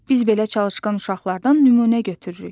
Biz belə çalışqan uşaqlardan nümunə götürürük.